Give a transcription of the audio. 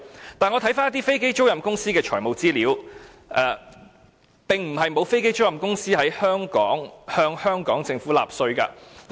可是，我翻查了一些飛機租賃公司的財務資料，發覺並不是沒有飛機租賃公司向香港政府納稅。